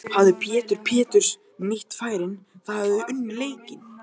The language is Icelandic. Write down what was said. Hefði Pétur Péturs nýtt færin þá hefðuð þið unnið leikinn?